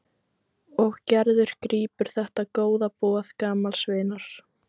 Og Gerður grípur þetta góða boð gamals vinar.